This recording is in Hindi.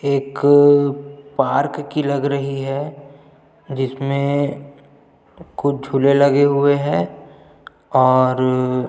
एक पार्क की लगा रही है जिसमे कुछ झूले लगे हुए है और--